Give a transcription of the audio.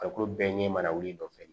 Farikolo bɛɛ ɲɛ mara wili dɔ fɛ